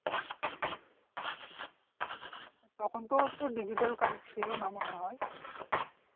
তখন তো digital card ছিলোনা মনে হয়